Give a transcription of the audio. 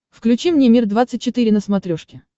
включи мне мир двадцать четыре на смотрешке